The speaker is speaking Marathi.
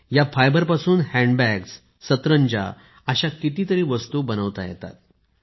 या फायबरपासून हॅन्ड बॅग सतरंजी असे कितीतरी वस्तू बनवल्या जातात